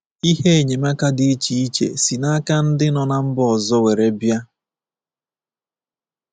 Ihe enyemaka dị iche iche si n'aka ndị nọ na mba ọzọ were bịa.